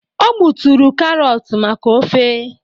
o gbuturu karọt maka ofe